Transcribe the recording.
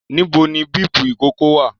Níbo ni bíípù ìkókó wà?